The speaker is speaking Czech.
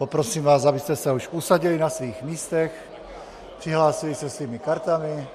Poprosím vás, abyste se už usadili na svých místech, přihlásili se svými kartami,